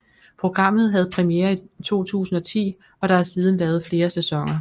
Programmet havde premiere i 2010 og der er siden lavet flere sæsoner